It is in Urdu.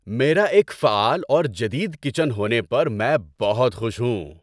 میرا ایک فعال اور جدید کچن ہونے پر میں بہت خوش ہوں۔